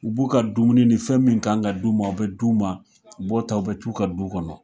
U b'u ka dumuni ni fɛn min kan ka d'u ma, u bɛ d'u ma, u b'o ta ,u bɛ t'u ka du kɔnɔ.